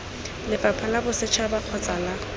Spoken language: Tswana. lefapha la bosetšhaba kgotsa la